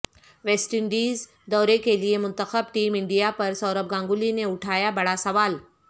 waste Indies دورہ کیلئے منتخب ٹیم انڈیا پر سوربھ گنگولی نے اٹھایا بڑا سوال